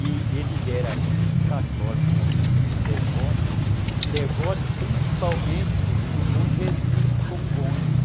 e ele era muito católico também, muito devoto, devoto principalmente do bom Jesus de Congonha.